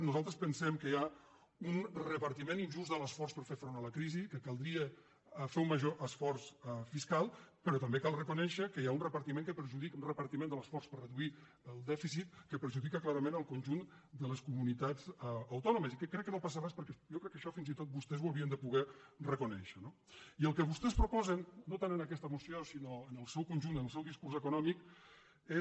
nosaltres pensem que hi ha un reparti·ment injust de l’esforç per fer front a la crisi que cal·dria fer un major esforç fiscal però també cal reconèi·xer que hi ha un repartiment de l’esforç per reduir el dèficit que perjudica clarament el conjunt de les comu·nitats autònomes i que crec que no passa res perquè jo crec que això fins i tot vostès ho havien de poder reco·nèixer no i el que vostès proposen no tant en aquesta moció sinó en el seu conjunt en el seu discurs econò·mic és